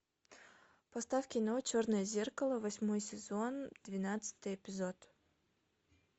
поставь кино черное зеркало восьмой сезон двенадцатый эпизод